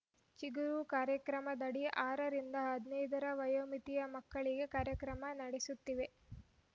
ಚಿಗರು ಕಾರ್ಯಕ್ರಮದಡಿ ಆರ ರಿಂದ ಹದಿನೈದರ ವಯೋಮಿತಿಯ ಮಕ್ಕಳಿಗೆ ಕಾರ್ಯಕ್ರಮ ನಡೆಸುತ್ತೇವೆ